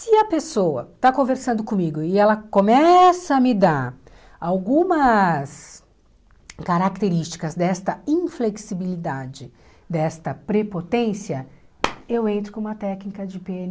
Se a pessoa está conversando comigo e ela começa a me dar algumas características desta inflexibilidade, desta prepotência, eu entro com uma técnica de pê ene